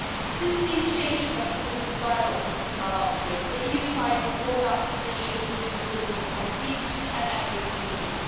Since the initiation of the political dialogue with Cuba last year, the EU side has brought up the issue of political prisoners at each and every meeting.